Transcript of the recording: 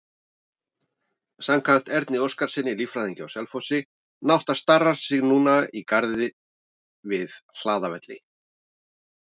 Samkvæmt Erni Óskarssyni, líffræðingi á Selfossi, nátta starar sig núna í garði við Hlaðavelli.